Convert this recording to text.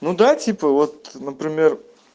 ну да типа вот например